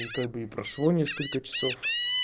как бы и прошло несколько часов